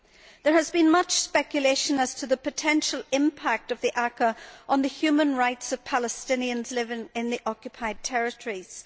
There has been much speculation as to the potential impact of the ACAA on the human rights of Palestinians living in the occupied territories.